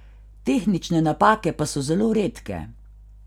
Tehnične napake pa so zelo redke.